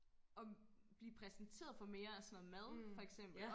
Og blive præsenteret for mere af sådan noget mad for eksempel